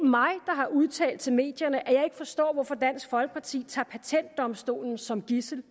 har udtalt til medierne at jeg ikke forstår hvorfor dansk folkeparti tager patentdomstolen som gidsel